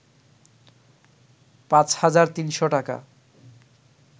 ৫ হাজার ৩০০ টাকা